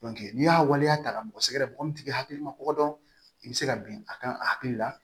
n'i y'a waleya ta k'a mɔgɔ sɛgɛrɛ mɔgɔ min tigi hakili ma ko dɔn i bɛ se ka bin a kan a hakili la